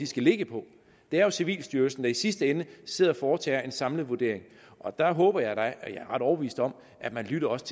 skal ligge på det er jo civilstyrelsen der i sidste ende sidder og foretager en samlet vurdering og der håber jeg da er ret overbevist om at man også